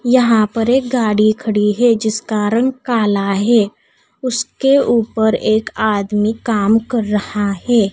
यहां पर एक गाड़ी खड़ी है जिसका रंग काला है उसके ऊपर एक आदमी काम कर रहा है।